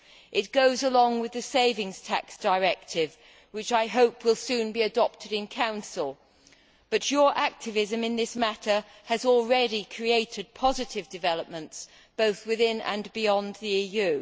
It goes along with the Savings Tax Directive, which I hope will soon be adopted in Council. But your activism in this matter has already created positive developments, both within and beyond the EU.